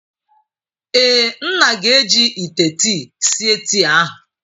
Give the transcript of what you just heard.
Ee. nna ga-eji ite tii sie tii ahu.